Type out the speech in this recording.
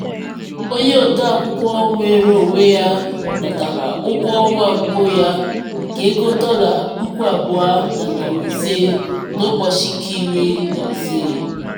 onye ode akwụkwọ nweere onwe ya natara ụgwọ ọnwa mbụ ya nke ego dọla puku abụọ na narị ise n'ụbọchị nke iri na ise.